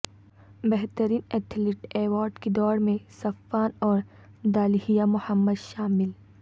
بہترین athlete award کی دوڑ میں صفان اور دالہیہ محمد شامل